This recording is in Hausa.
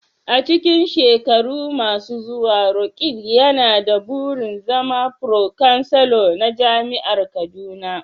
A cikin shekaru masu zuwa, Roqeeb yana da burin zama Pro-Chancellor na Jami'ar Kaduna.